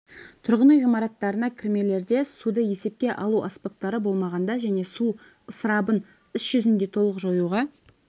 тұрғын үй ғимаратына кірмелерде суды есепке алу аспаптары болмағанда және су ысырабын іс жүзінде толық жоюға